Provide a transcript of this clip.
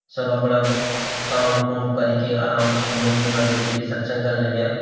सब अपड़ा काम कूम करी कि आराम से यख मंदिर मा बैठिकी सत्शंग कर्ण लग्यां।